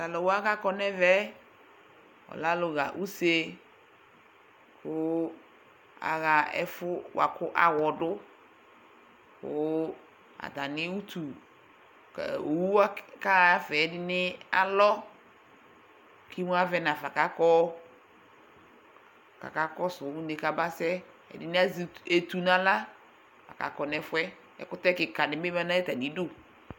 Tʋ alʋ wa kʋ akɔ nʋ ɛvɛ yɛ, ɔlɛ alʋɣa use kʋ aɣa ɛfʋ bʋa kʋ aɣɔ dʋ kʋ atanɩ utu kʋ owu kaɣa ɛfɛ ɛdɩnɩ alɔ kʋ imuavɛ nafa kʋ akɔ kʋ akakɔsʋ une yɛ kabasɛ Ɛdɩnɩ azɛ etu nʋ aɣla la kʋ akɔ nʋ ɛfʋ yɛ Ɛkʋtɛ kɩka dɩ bɩ ma nʋ atamɩdu